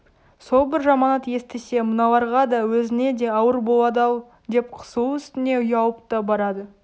сол бір жаманат естісе мыналарға да өзіне де ауыр болады-ау деп қысылу үстіне ұялып та барады